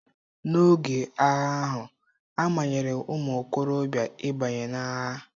N'oge agha ahụ, a manyere ụmụ okorobịa ịbanye n'agha.